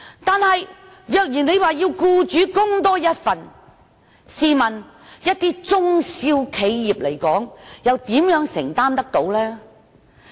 但是，如果要求僱主多作一份供款，試問一些中小型企業又如何能承擔呢？